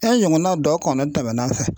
E ɲɔgɔnna dɔ kɔnɔ tɛmɛna n fɛ.